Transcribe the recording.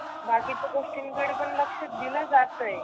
बाकीच्या गोष्टींकडे लक्ष दिल जातय.